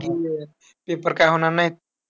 की अह paper काय होणार नायत.